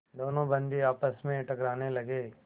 दोनों बंदी आपस में टकराने लगे